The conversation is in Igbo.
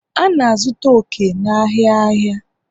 A na-azụta oke n'ahịa ahịa